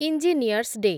engineers day